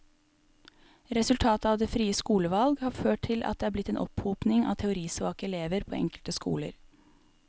Resultatet av det frie skolevalg har ført til at det er blitt en opphopning av teorisvake elever på enkelte skoler.